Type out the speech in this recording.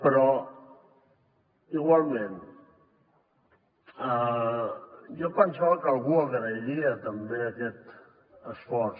però igualment jo em pensava que algú agrairia també aquest esforç